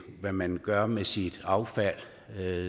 hvad man gør med sit affald